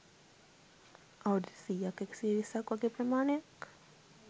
අවුරුදු සියක් එකසිය විස්සක් වගේ ප්‍රමාණයක්.